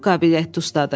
Çox qabiliyyətli ustadır.